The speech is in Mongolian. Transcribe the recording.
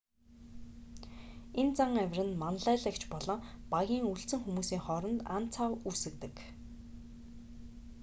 энэ зан авир нь манлайлагч болон багийн үлдсэн хүмүүсийн хооронд ан цав үүсгэдэг